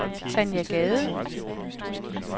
Tanja Gade